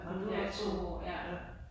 Ja, nåh du har også boet ja